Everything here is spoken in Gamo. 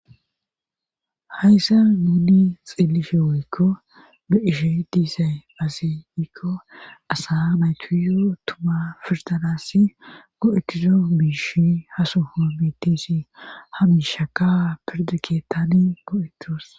Hayssa muni xelishshe woykko be'ishshe de'iyaysisi aze gikko assa natuyo tumma firdanassi go'etizo miishshi haso homitishsh haa yiishshekka pirda keettani go'etos